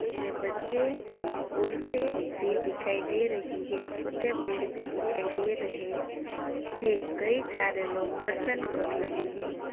इसमे बच्चे औरतें भी दिखाई दे रही है छोटे पेड़ भी दिखाई दे रहे है। सारे लोग दर्शन कर रहे हैं।